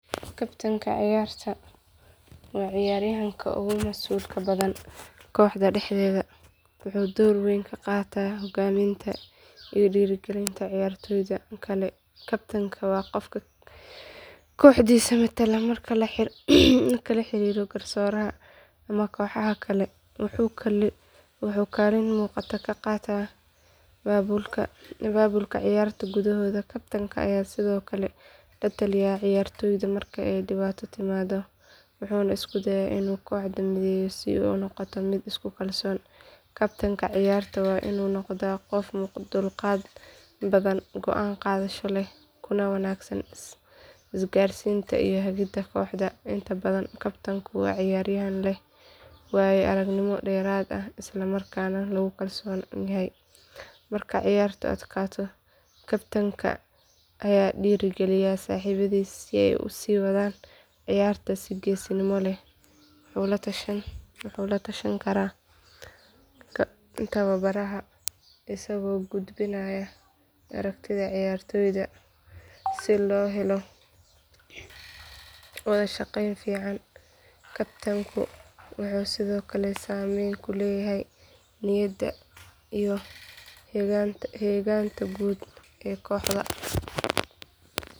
Kabtan ciyaarta waa ciyaaryahanka ugu masuulka badan kooxda dhexdeeda wuxuuna door weyn ka qaataa hogaaminta iyo dhiirigelinta ciyaartoyda kale kabtanku waa qofka kooxdiisa matala marka lala xiriiro garsooraha ama kooxaha kale wuxuuna kaalin muuqata ka qaataa abaabulka ciyaarta gudahooda kabtanka ayaa sidoo kale la taliya ciyaartoyda marka ay dhibaato timaado wuxuuna isku dayaa inuu kooxda mideeyo si ay u noqoto mid isku kalsoon kabtanka ciyaarta waa inuu noqdaa qof dulqaad badan go’aan qaadasho leh kuna wanaagsan isgaarsiinta iyo hagida kooxda inta badan kabtanku waa ciyaaryahan leh waayo aragnimo dheeraad ah islamarkaana lagu kalsoon yahay marka ciyaartu adkaato kabtanka ayaa dhiiri geliya saaxiibadiis si ay u sii wadaan ciyaarta si geesinimo leh wuxuu la tashan karaa tababaraha isagoo gudbinaya aragtida ciyaartoyda si loo helo wada shaqayn fiican kabtanku wuxuu sidoo kale saameyn ku leeyahay niyadda iyo heeganka guud ee kooxda.